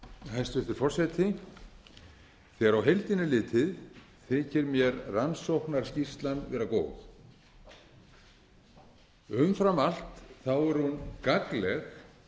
hæstvirtur forseti þegar á heildina er litið þykir mér rannsóknarskýrslan vera góð umfram allt er hún gagnleg